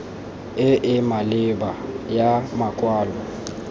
e e maleba ya makwalo